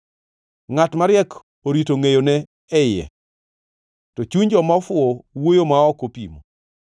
Ngʼat mariek orito ngʼeyone e iye, to chuny joma ofuwo wuoyo ma ok opimo.